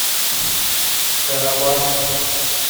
карабашу